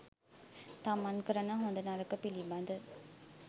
තමන් කරන හොඳ නරක පිළිබඳ